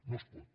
no es pot